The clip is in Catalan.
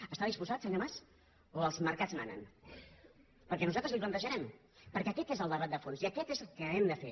hi està disposat senyor mas o els mercats manen perquè nosaltres li ho plantejarem perquè aquest és el debat de fons i aquest és el que hem de fer